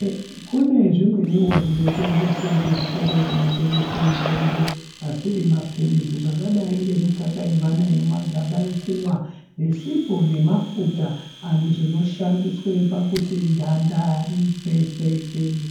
Kune zvimweniwo zvinotengeswe kuzvitoro kunotengeswe mitombo ,asiri mapilizi zvakadayi ngemukaka yevana yemumagaba yekumwa nesipo nemafuta zvinoshandiswe pakuti ganda ritsetseke.